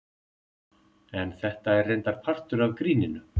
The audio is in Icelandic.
En þetta er reyndar partur af gríninu.